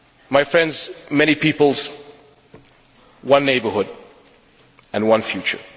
My friends, many peoples, one neighbourhood and one future.